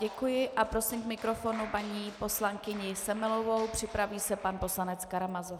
Děkuji a prosím k mikrofonu paní poslankyni Semelovou, připraví se pan poslanec Karamazov.